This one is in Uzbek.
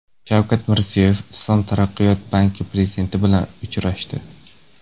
Shavkat Mirziyoyev Islom taraqqiyot banki prezidenti bilan uchrashdi.